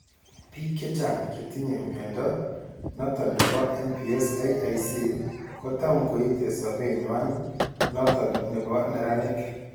Biik chechang chetinye mnyondo noton nebo MPS IIC kotam koite sobenywan noton nebo neraanik